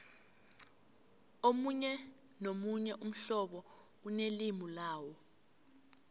omunye nomunye umhlobo unelimu lawo